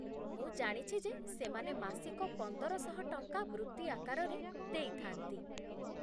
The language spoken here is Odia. ମୁଁ ଜାଣିଛି ଯେ ସେମାନେ ମାସିକ ପନ୍ଦରଶହ ଟଙ୍କା ବୃତ୍ତି ଆକାରରେ ଦେଇଥାନ୍ତି